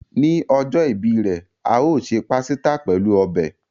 Ni ojo ìbí re, a o se pàsítà pelu ọbẹ̀.